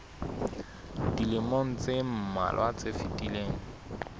dilemong tse mmalwa tse fetileng